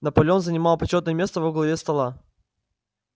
наполеон занимал почётное место во главе стола